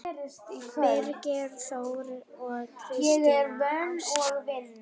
Birgir Þór og Kristín Ásta.